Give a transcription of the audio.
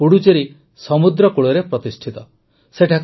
ଏହା ପୁଡୁଚେରି ସମୁଦ୍ରକୂଳରେ ପ୍ରତିଷ୍ଠିତ ହୋଇଛି